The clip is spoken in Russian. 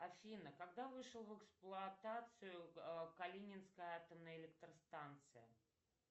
афина когда вышел в эксплуатацию калининская атомная электростанция